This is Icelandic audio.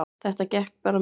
Þetta gekk bara mjög vel